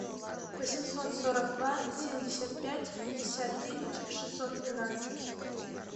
восемьсот сорок два семьдесят пять пятьдесят девять шестьсот двенадцать